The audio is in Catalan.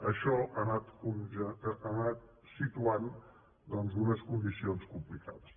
això ha anat situant doncs unes condicions complicades